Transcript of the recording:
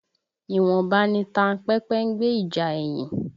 Ìwọ̀nba ni tanpẹ́pẹ́ ń gbe ìjà ẹyin